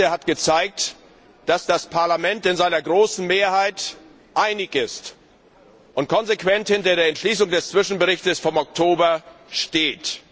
Die Debatte hat gezeigt, dass das Parlament in seiner großen Mehrheit einig ist und konsequent hinter der Entschließung des Zwischenberichts vom Oktober steht.